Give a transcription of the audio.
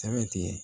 Sɛbɛ ti ye